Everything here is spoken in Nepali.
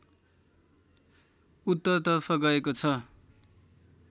उत्तरतर्फ गएको छ